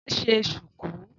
Wá ṣe ṣùkú.